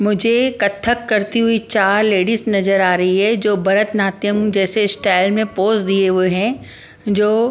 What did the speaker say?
मुझे कथक करती हुई चार लेडीस नजर आ रही है जो भरत नात्यम जैसे स्टाइल में पोज दिए हुए हैं जो --